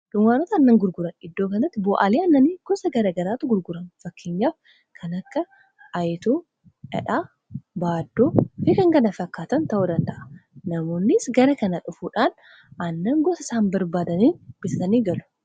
dunkaanota aannan gurguran iddoo kanatti bo'aalii annanii gosa gara garaatu gurgurama, fakkeenyaaf kanakka ayituu, dhadhaa ,ba'adduu ,fikankana fakkaatan ta'uu danda'a namoonnis gara kana dhufuudhaan annan gosa isaan barbaadaniin bisatanii galu